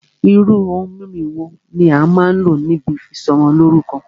Irú ohun mímu wo ní a máà n lò níbi ìsọmọlórúkọ́?